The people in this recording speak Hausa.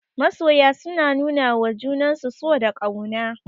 Masoya suna nuwawa juna so da ƙauna.